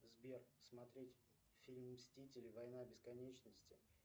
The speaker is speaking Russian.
сбер смотреть фильм мстители война бесконечности